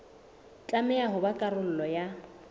tlameha ho ba karolo ya